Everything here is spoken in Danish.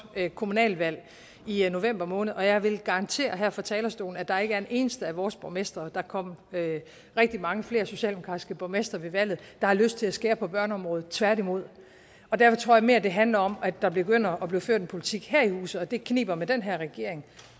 kommunalvalg i i november måned og jeg vil garantere her fra talerstolen at der ikke er en eneste af vores borgmestre og der kom rigtig mange flere socialdemokratiske borgmestre ved valget der har lyst til at skære ned på børneområdet tværtimod og derfor tror jeg mere det handler om at der begynder at blive ført en politik her i huset og det kniber med den her regering